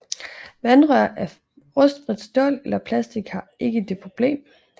Vandrør af rustfrit stål eller plastik har ikke det problem